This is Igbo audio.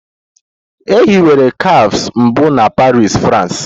E hiwere cafes mbụ na Paris, France.